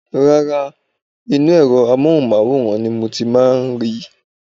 Rárá, inú ẹ̀rọ amóhùnmáwòrán ni mo ti máa ń rí i